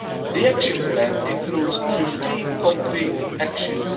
The Action Plan includes 15 concrete actions.